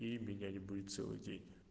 и меня не будет целый день